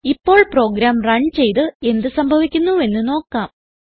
ഇപ്പോൾ programme run ചെയ്ത് എന്ത് സംഭവിക്കുന്നുവെന്ന് നോക്കാം